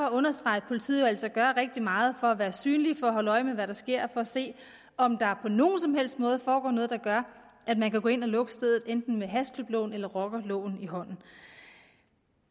at understrege at politiet jo altså gør rigtig meget for at være synlige for at holde øje med hvad der sker for at se om der på nogen som helst måde foregår noget der gør at man kan gå ind og lukke stedet enten med hashklubloven eller rockerloven i hånden